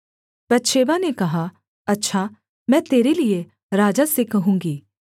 बतशेबा ने कहा अच्छा मैं तेरे लिये राजा से कहूँगी